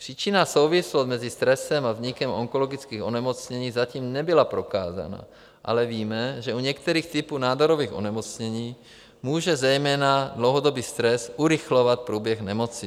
Příčinná souvislost mezi stresem a vznikem onkologických onemocnění zatím nebyla prokázána, ale víme, že u některých typů nádorových onemocnění může zejména dlouhodobý stres urychlovat průběh nemoci.